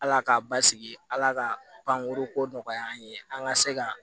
Ala k'a basigi ala ka bankoro ko nɔgɔya an ye an ka se ka